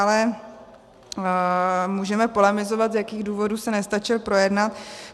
Ale můžeme polemizovat, z jakých důvodů se nestačil projednat.